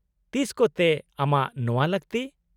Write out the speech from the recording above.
-ᱛᱤᱥ ᱠᱚᱛᱮ ᱟᱢᱟᱜ ᱱᱚᱶᱟ ᱞᱟᱹᱠᱛᱤ ?